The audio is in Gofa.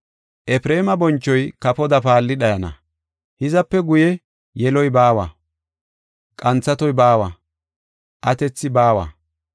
Efreema bonchoy kafoda paalli dhayana; hizape guye yeloy baawa; qanthatoy baawa; atethi baawa.